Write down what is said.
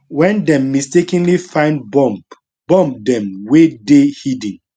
wen dem mistakenly find bomb bomb dem wey dey hidden